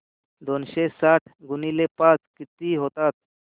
दोनशे साठ गुणिले पाच किती होतात